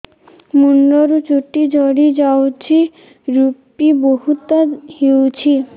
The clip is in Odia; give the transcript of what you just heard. ମୁଣ୍ଡରୁ ଚୁଟି ଝଡି ଯାଉଛି ଋପି ବହୁତ ହେଉଛି